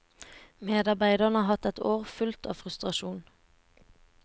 Medarbeiderne har hatt et år fullt av frustrasjon.